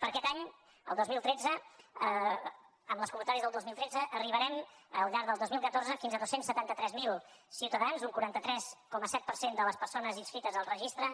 per a aquest any el dos mil tretze amb les convocatòries del dos mil tretze arribarem al llarg del dos mil catorze fins a dos cents i setanta tres mil ciutadans un quaranta tres coma set per cent de les persones inscrites al registre